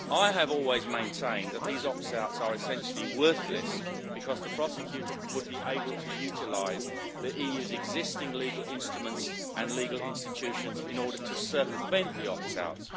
I have always maintained that these opt outs are essentially worthless, because the Prosecutor would be able to utilise the EU's existing legal instruments and legal institutions in order to circumvent the opt outs.